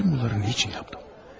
Bütün bunları niyə etdim?